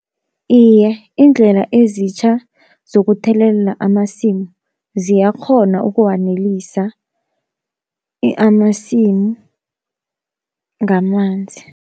Iye iindlela ezitjha zokuthelelela amasimu ziyakghona ukuwanelisa amasimu ngamanzi.